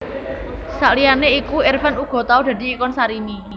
Saliyane iku Irfan uga tau dadi ikon Sarimi